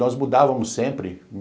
Nós mudávamos sempre.